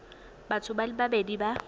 batho ba le babedi ba